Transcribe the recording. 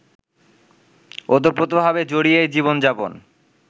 ওতপ্রোতভাবে জড়িয়েই জীবনযাপন